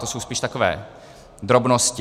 To jsou spíš takové drobnosti.